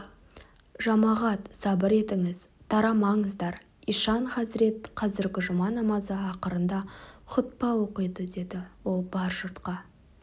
жамағат сабыр етіңіз тарамаңыздар ишан хазірет қазіргі жұма намазы ақырында хұтпа оқиды деді ол бар жұртқа